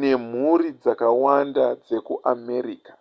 nemhuri dzakawanda dzekuamerica